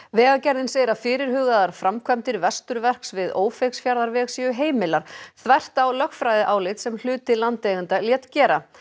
vegagerðin segir að fyrirhugaðar framkvæmdir Vesturverks við Ófeigsfjarðarveg séu heimilar þvert á lögfræðiálit sem hluti landeigenda lét gera